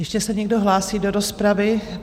Ještě se někdo hlásí do rozpravy?